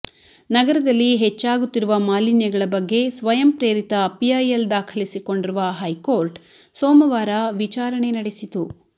ನಗರದಲ್ಲಿ ಹೆಚ್ಚಾಗುತ್ತಿರುವ ಮಾಲಿನ್ಯಗಳ ಬಗ್ಗೆ ಸ್ವಯಂ ಪ್ರೇರಿತ ಪಿಐಲ್ ದಾಖಲಿಸಿಕೊಂಡಿರುವ ಹೈಕೋರ್ಟ್ ಸೋಮವಾರ ವಿಚಾರಣೆ ನಡೆಸಿತು